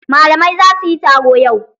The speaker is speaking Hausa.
Malamai zasuyi taro yau